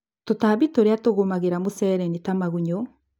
Tũtambmbi tũrĩa tũgũmagĩra mũcere nĩta magunyũ.